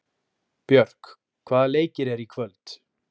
Björk, hvaða leikir eru í kvöld?